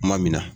Kuma min na